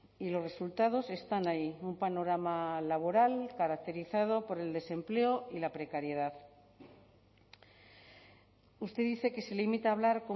y los resultados están ahí un panorama laboral caracterizado por el desempleo y la precariedad usted dice que se limita a hablar